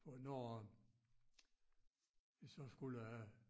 På når vi så skulle